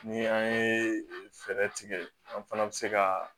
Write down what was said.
Ni an ye fɛɛrɛ tigɛ an fana bɛ se ka